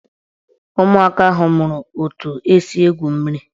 Ụmụaka ahụ mụrụ etu esi egwu mmiri